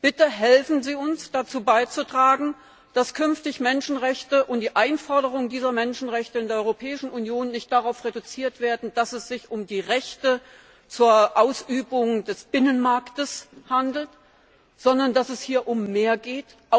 Bitte helfen Sie uns, dazu beizutragen, dass künftig Menschenrechte und die Einforderung dieser Menschenrechte in der Europäischen Union nicht darauf reduziert werden, dass es sich um die Rechte zur Ausübung des Binnenmarkts handelt, sondern dass es hier um mehr geht!